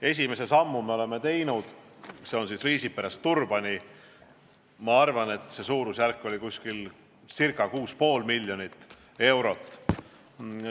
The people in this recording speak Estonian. Esimese sammu me oleme teinud, see on Riisiperest Turbani, mille maksumus on ca 6,5 miljonit eurot.